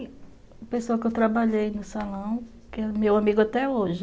Sim, tem pessoa que eu trabalhei no salão, que é meu amigo até hoje.